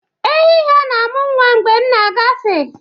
Ehi ha na-amụ nwa mgbe m na-agafe.